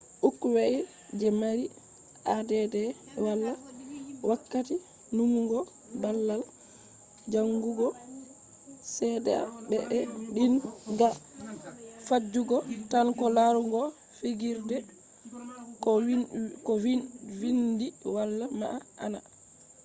ukkwai je mari add wala wakkati numugo balbal jangugo sedea be be din ga fijugo tan ko larugo figirde ko vindi wala ma`ana